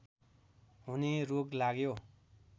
हुने रोग लाग्यो